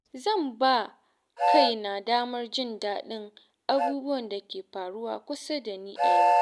Zan ba kaina damar jin daɗin abubuwan da ke faruwa kusa da ni a yau.